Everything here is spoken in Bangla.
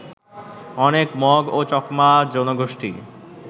অনেক মগ ও চাকমা জনগোষ্ঠী